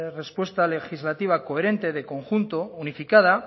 respuesta legislativa coherente de conjunto unificada